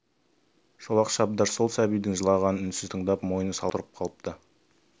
шолақ шабдар сол сәбидің жылағанын үнсіз тыңдап мойны салбырап сұлқ тұрып қалыпты